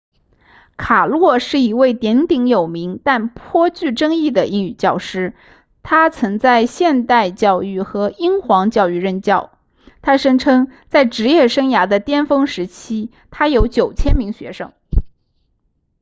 卡诺是一位鼎鼎有名但颇具争议的英语教师他曾在现代教育和英皇教育任教他声称在职业生涯的巅峰时期他有9000名学生